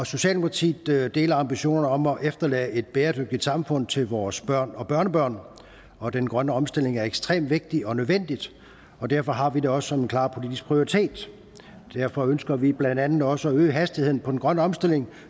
socialdemokratiet deler ambitionerne om at efterlade et bæredygtigt samfund til vores børn og børnebørn og den grønne omstilling er ekstremt vigtig og nødvendig og derfor har vi det også som en klar politisk prioritet derfor ønsker vi blandt andet også at øge hastigheden på den grønne omstilling